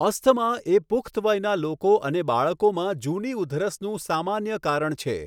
Asthma એ પુખ્ત વયના લોકો અને બાળકોમાં જૂની ઉધરસનું સામાન્ય કારણ છે.